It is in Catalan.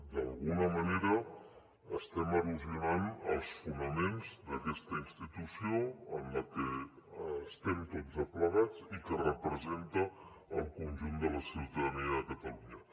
d’alguna manera estem erosionant els fonaments d’aquesta institució en la que estem tots aplegats i que representa el conjunt de la ciutadania de catalunya